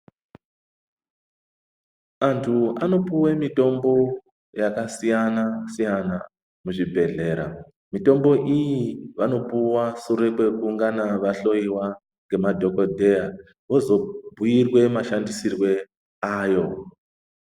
Antu anopuwa mitombo yakasiyana-siyana muzvibhedhlera mitombo iyi vanopuwa sure kwekungana vahloiwa nemadhokodheya vozobhuirwe mashandisirwo ayo.